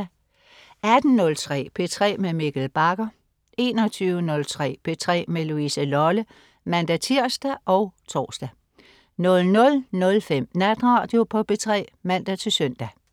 18.03 P3 med Mikkel Bagger 21.03 P3 med Louise Lolle (man-tirs og tors) 00.05 Natradio på P3 (man-søn)